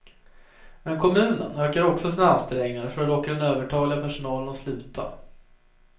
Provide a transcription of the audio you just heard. Men kommunen ökar också sina ansträngningar för att locka den övertaliga personalen att sluta.